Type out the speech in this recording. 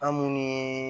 An munnu ye